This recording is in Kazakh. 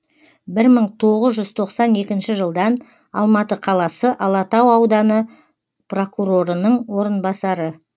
бір мың тоғыз жүз тоқсан екінші жылдан алматы қаласы алатау ауданы прокурорының орынбасары